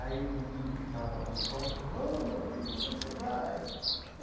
Aí, um índio que estava lá na porta falou, ó, meu filho, para onde você vai?